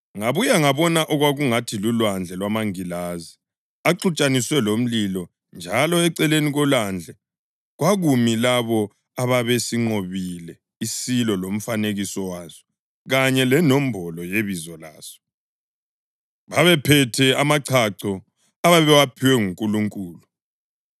Ngabuya ngabona okwakungathi lulwandle lwamangilazi axutshaniswe lomlilo njalo eceleni kolwandle kwakumi labo ababesinqobile isilo lomfanekiso waso kanye lenombolo yebizo laso. Babephethe amachacho ababewaphiwe nguNkulunkulu